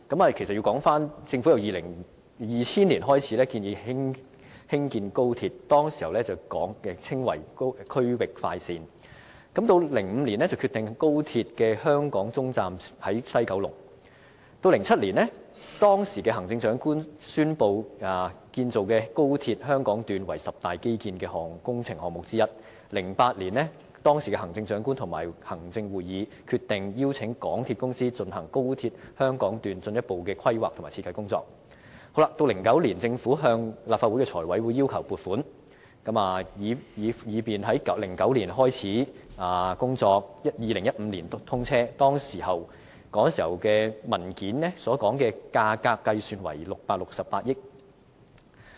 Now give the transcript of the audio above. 其實要回溯至2000年，當年政府開始建議興建高鐵，那時候稱為"區域快線 "；2005 年決定高鐵的香港終站設在西九龍 ；2007 年，當時的行政長官宣布建造的高鐵香港段為十大基建工程項目之一 ；2008 年，當時的行政長官會同行政會議決定邀請港鐵公司進行高鐵香港段進一步的規劃和設計工作 ；2009 年，政府向立法會財務委員會要求撥款，以便工程可在2009年開始，在2015年通車，其時文件所述的價格計算為668億元。